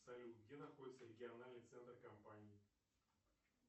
салют где находится региональный центр компании